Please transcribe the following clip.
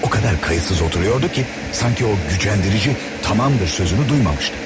O qədər laqeyd oturmuşdu ki, sanki o incidici 'tamamdır' sözünü eşitmişdi.